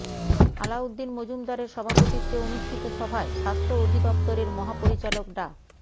আলাউদ্দিন মজুমদারের সভাপতিত্বে অনুষ্ঠিত সভায় স্বাস্থ্য অধিদপ্তরের মহাপরিচালক ডা